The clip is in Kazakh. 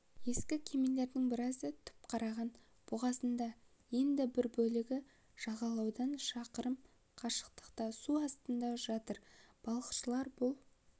ескі кемелердің біразы түпқараған бұғазында енді бір бөлігі жағалаудан шақырым қашықтықта су астында жатыр балықшылар бұл